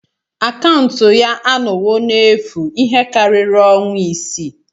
Akaụntụ ya anọwo n'efu ihe karịrị ọnwa isii.